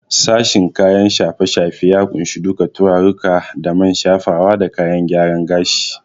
Sashen kayan shafe-shafe ya kunshi duka turarirruka da man shafawa da kayan gyaren gashi.